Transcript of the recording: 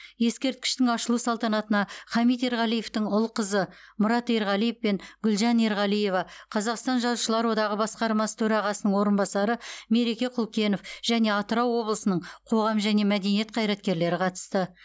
ескерткіштің ашылу салтанатына хамит ерғалиевтің ұл қызы мұрат ерғалиев пен гүлжан ерғалиева қазақстан жазушылар одағы басқармасы төрағасының орынбасары мереке құлкенов және атырау облысының қоғам және мәдениет қайраткерлері қатысты